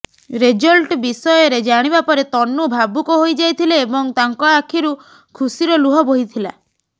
result ବିଷୟରେ ଜାଣିବା ପରେ ତନୁ ଭାବୁକ ହୋଇଯାଇଥିଲେ ଏବଂ ତାଙ୍କ ଆଖିରୁ ଖୁସିର ଲୁହ ବୋହିଥିଲା